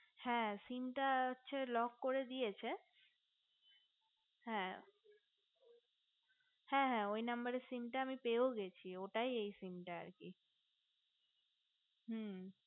হ্যা sim টা হচ্ছে lock করে দিয়েছে হ্যা হ্যা হা ওই number এ sim টা আমি পেয়েও গেছি ঐটাই এই sim টা আর কি হু